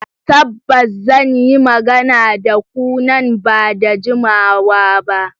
Tabbas, zan yi magana da ku nan ba da jimawa ba.